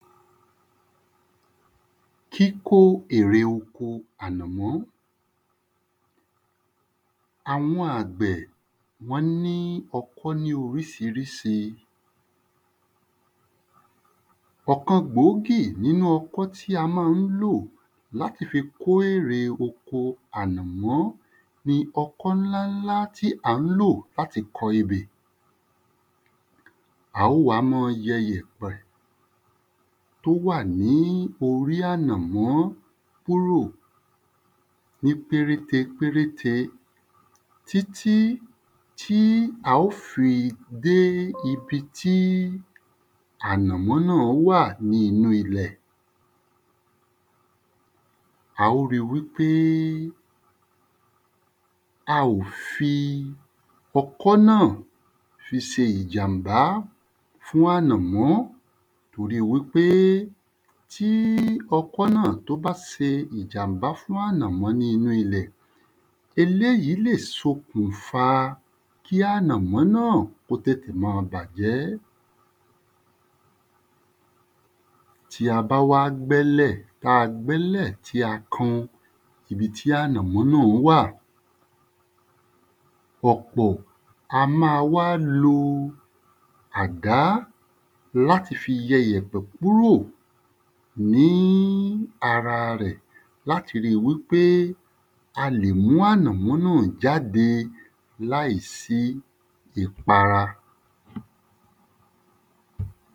Kíkó ère oko ànàmọ́ Àwọn àgbẹ̀ wọ́n ní ọkọ́ ní orísirísi ọ̀kan gbòógì nínú ọkọ́ tí a má ń lò láti fi kó ère oko ànàmọ́ ni ọkọ́ ńlá ńlá tí à ń lò láti kọ ebè á wá mọ yẹ yẹ̀pẹ̀ tó wà ní orí ànàmọ́ kúrò ní péréte péréte tí tí tí a ó fi dé ibi tí ànàmọ́ náà wà ní inú ilẹ̀ a ó ri wí pé a ò fi ọkọ́ náà fi se ìjàmbá fún ànàmọ́ torí wí pé tí ọkọ́ náà tó bá se ìjàmbá fún ànàmọ́ tó wà ní inú ilẹ̀ eléyí lè sokùnfa kí ànàmọ́ náà kó tètè má a bàjẹ́ tí a bá wá gbẹ́lẹ̀ ta gbẹ́lẹ̀ tí a kan ibi tí ànàmọ́ náà wà pọ̀pọ̀ a má wá lo àgá láti fi yẹ iyẹ̀pẹ̀ kúrò ní ara rẹ̀ láti ri wí pé a lè mú ànàmọ́ náà jáde láìsí ìpara